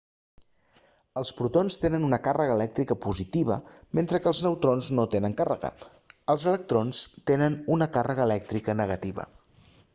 els protons tenen una càrrega elèctrica positiva mentre que els neutrons no tenen càrrega els electrons tenen una càrrega elèctrica negativa